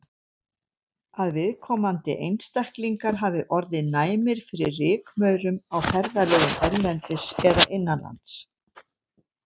Að viðkomandi einstaklingar hafi orðið næmir fyrir rykmaurum á ferðalögum erlendis eða innanlands.